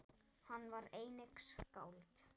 Hann var einnig skáld.